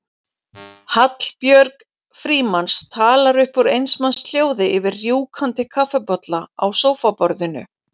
Hallbjörg Frímanns talar upp úr eins manns hljóði yfir rjúkandi kaffibolla á sófaborðinu.